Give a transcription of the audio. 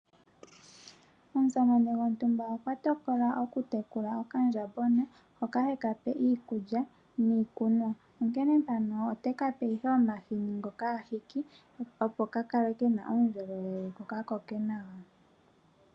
Omusamane gontumba okwa tokola oku tekula okandjambona hoka heka pe iikulya niikunwa, onkene ote kape omahini ngoka ahiki opo ka kale kena uundjolowele ko kakoke nawa.